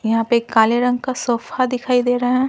यहां पे काले रंग का सोफा दिखाई दे रहा है।